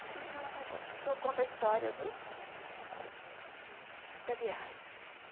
Esqueci o nome, deixa eu contar a história do da da viagem.